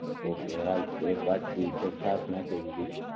okay હાલ એક વાટ્કી તો છાસ નાખી દીધી